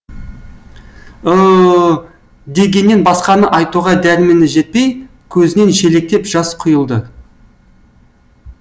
ы ы ы дегеннен басқаны айтуға дәрмені жетпей көзінен шелектеп жас құйылды